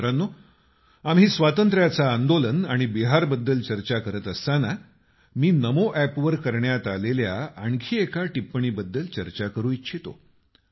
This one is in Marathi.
मित्रांनो आम्ही स्वातंत्र्याच आंदोलन आणि बिहारबद्दल चर्चा करत असताना मी नमो एपवर करण्यात आलेल्या आणखी एका टिप्पणीबद्दल चर्चा करू इच्छितो